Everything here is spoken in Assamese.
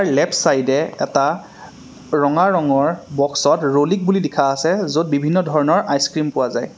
লেফ্টচাইডে এটা ৰঙা ৰঙৰ বক্সত ৰ'লিক বুলি লিখা আছে য'ত বিভিন্ন ধৰণৰ আইছক্ৰীম পোৱা যায়।